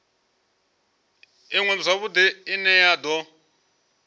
iṅwe zwavhudi ine ya do